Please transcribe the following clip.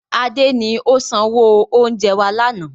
Adé ni ó sanwó oúnjẹ wá lànà